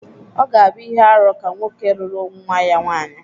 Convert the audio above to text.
Ọ gābu ihe-árú ka nwoke luru nwa-ya nwanyi.